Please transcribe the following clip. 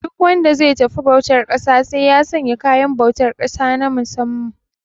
Duk wanda ze tafi bautar ƙasa sai ya sanya kayan bautar ƙasa na musamman